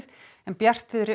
en bjartviðri